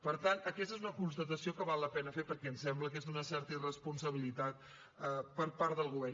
per tant aquesta és una constatació que val la pena fer perquè em sembla que és d’una certa irresponsabilitat per part del govern